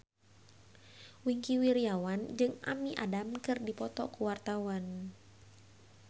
Wingky Wiryawan jeung Amy Adams keur dipoto ku wartawan